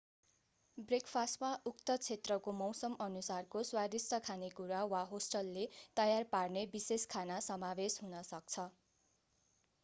ब्रेकफास्टमा उक्त क्षेत्रको मौसमअनुसारको स्वादिष्ट खानेकुरा वा होस्टले तयार पार्ने विशेष खाना समावेश हुन सक्छ